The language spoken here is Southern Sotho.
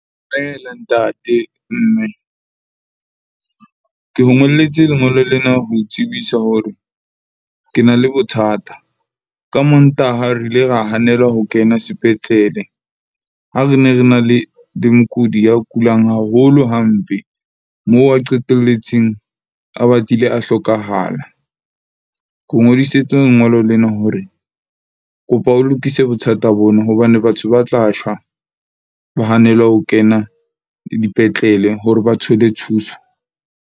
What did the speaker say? Dumela ntate, mme ke o ngolletse lengolo lena ho tsebisa hore ke na le bothata. Ka Mantaha re ile ra hanelwe ho kena sepetlele, ha re ne re na le di mokudi ya kulang haholo hampe. Moo a qetelletseng a batlile a hlokahala. Ke o lengolo lena hore kopa o lokise bothata bona, hobane batho ba tla shwa ba hanelwe ho kena dipetlele hore ba thole thuso.